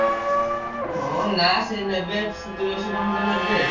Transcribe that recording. ହଁ ନା ସେ ନେବେ ସତୁରୀ ଅଶି ଟଙ୍କା ଖଣ୍ଡେ ନେବେ।